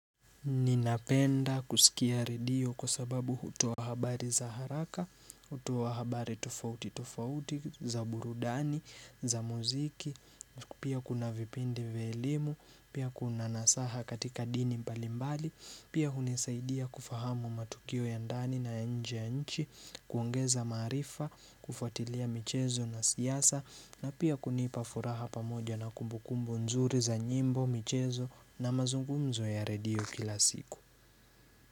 Ninapenda kusikia radio kwa sababu hutoa habari za haraka, hutoa habari tofauti tofauti, za burudani, za muziki, pia kuna vipindi vya elimu, pia kuna nasaha katika dini mbalimbali, pia hunisaidia kufahamu matukio ya ndani na nje ya nchi, kuongeza maarifa, kufatilia michezo na siasa, na pia kunipa furaha pamoja na kumbukumbu nzuri za nyimbo, michezo na mazungumzo ya radio kila siku.